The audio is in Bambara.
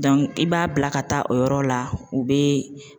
i b'a bila ka taa o yɔrɔ la u be